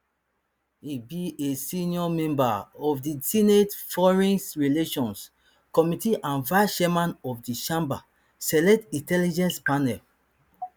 e be a senior member of di senate foreign relations committee and vicechairman of di chamber select intelligence panel